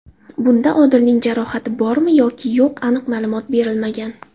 Bunda Odilning jarohati bormi yoki yo‘q aniq ma’lumot berilmagan.